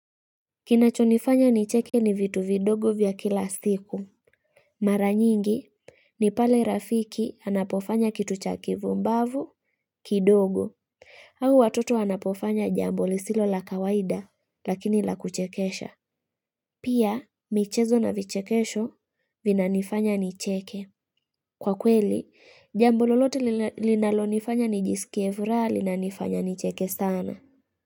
Kinachonifanya nicheke ni vitu vidogo vya kila siku. Mara nyingi ni pale rafiki anapofanya kitu cha kivumbavu kidogo. Au watoto wanapofanya jambo lisilo la kawaida lakini la kuchekesha. Pia michezo na vichekesho vinanifanya nicheke. Kwa kweli jambo lolote linalonifanya nijisikievuraha linanifanya nicheke sana.